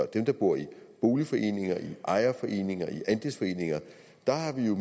dem der bor i boligforeninger i ejerforeninger i andelsforeninger der har vi jo